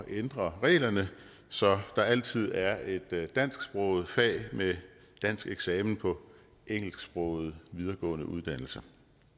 ændre reglerne så der altid er et dansksproget fag med dansk eksamen på engelsksprogede videregående uddannelser